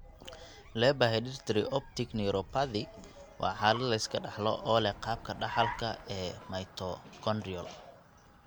Leber herditary optic neuropathy waa xaalad la iska dhaxlo oo leh qaabka dhaxalka ee mitochondrial.